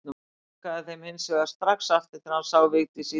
Hann lokaði þeim hins vegar strax aftur þegar hann sá Vigdísi í dyrunum.